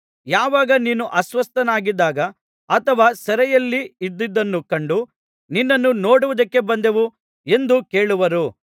ಯಾವಾಗ ನೀನು ಅಸ್ವಸ್ಥನಾಗಿದ್ದಾಗ ಅಥವಾ ಸೆರೆಮನೆಯಲ್ಲಿ ಇದ್ದುದನ್ನು ಕಂಡು ನಿನ್ನನ್ನು ನೋಡುವುದಕ್ಕೆ ಬಂದೆವು ಎಂದು ಕೇಳುವರು